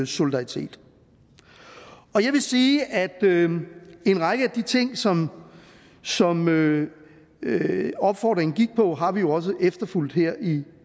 solidaritet jeg vil sige at en række af de ting som som opfordringen gik på har vi jo også efterfulgt her i